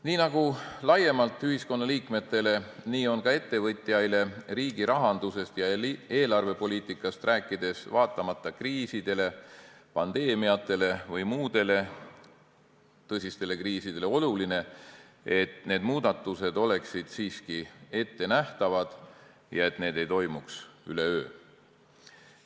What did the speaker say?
Nii nagu laiemalt ühiskonnaliikmetele, nii on ka ettevõtjaile riigirahandusest ja eelarvepoliitikast rääkides, vaatamata kriisidele, pandeemiatele või muudele tõsistele kriisidele, oluline, et muudatused oleksid siiski ettenähtavad ja need ei toimuks üleöö.